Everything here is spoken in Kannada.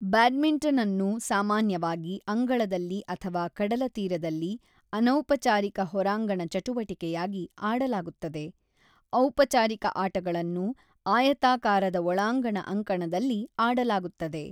ಬ್ಯಾಡ್ಮಿಂಟನ್‌ಅನ್ನು ಸಾಮಾನ್ಯವಾಗಿ ಅಂಗಳದಲ್ಲಿ ಅಥವಾ ಕಡಲತೀರದಲ್ಲಿ ಅನೌಪಚಾರಿಕ ಹೊರಾಂಗಣ ಚಟುವಟಿಕೆಯಾಗಿ ಆಡಲಾಗುತ್ತದೆ; ಔಪಚಾರಿಕ ಆಟಗಳನ್ನು ಆಯತಾಕಾರದ ಒಳಾಂಗಣ ಅಂಕಣದಲ್ಲಿ ಆಡಲಾಗುತ್ತದೆ.